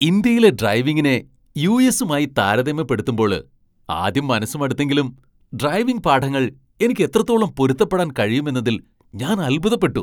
ഇന്ത്യയിലെ ഡ്രൈവിംഗിനെ യു.എസ്സുമായി താരതമ്യപ്പെടുത്തുമ്പോള് ആദ്യം മനസ്സ് മടുത്തെങ്കിലും ഡ്രൈവിംഗ് പാഠങ്ങൾ എനിക്ക് എത്രത്തോളം പൊരുത്തപ്പെടാൻ കഴിയുമെന്നതിൽ ഞാൻ അൽഭുതപ്പെട്ടു !